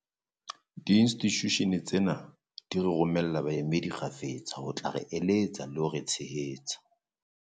Diinstitushene tsena di re romella baemedi kgafetsa ho tla re eletsa le ho re tshehetsa.